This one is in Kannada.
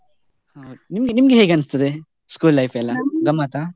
ಹೌದು ನಿಮ್ಗೆ ನಿಮ್ಗೆ ಹೇಗ್ ಅನ್ಸ್ತದೆ school life ಗಮ್ಮತ್ತಾ?